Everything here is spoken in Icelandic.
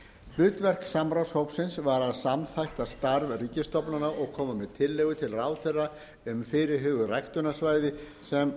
hlutverk samráðshópsins var að samþætta starf ríkisstofnana og koma með tillögur til ráðherra um fyrirhuguð ræktunarsvæði sem